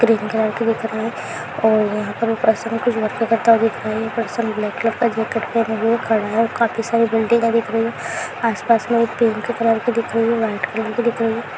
Green colour की दिख रहे है ऊपर से वर्क करता दिख रहा है काफी सारी बिल्डिंगे दिख रही है आस पास में पिंक कलर की दिख रही है वाइट कलर की दिख रही है।